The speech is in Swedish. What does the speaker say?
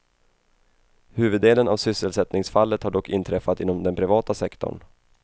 Huvuddelen av sysselsättningsfallet har dock inträffat inom den privata sektorn.